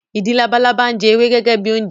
Ìdin labalábá ń jẹ ewé gẹ́gẹ́ bi oúnjẹ